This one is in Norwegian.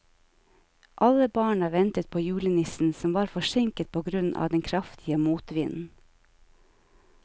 Alle barna ventet på julenissen, som var forsinket på grunn av den kraftige motvinden.